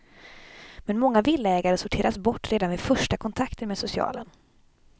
Men många villaägare sorteras bort redan vid första kontakten med socialen.